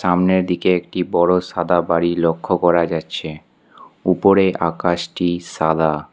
সামনের দিকে একটি বড় সাদা বাড়ি লক্ষ করা যাচ্ছে উপরে আকাশটি সাদা।